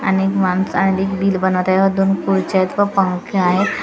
आणि एक माणसं आणि बिल बनवत आहे व दोन खुर्च्या आहेत व पंखे आहेत.